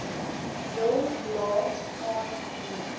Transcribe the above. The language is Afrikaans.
wil laat aanneem